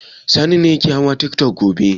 Sani ne zai hau tiktok gobe.